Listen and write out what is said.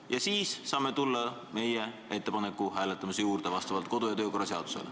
Ja siis me saame vastavalt kodu- ja töökorra seadusele tulla meie ettepaneku hääletamise juurde.